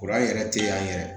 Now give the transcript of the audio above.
Kuran yɛrɛ te an yɛrɛ